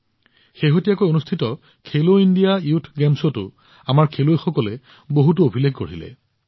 শেহতীয়াকৈ অনুষ্ঠিত Khelo India youth গেমছত আমাৰ খেলুৱৈসকলেও বহুতো অভিলেখ গঢ়িছে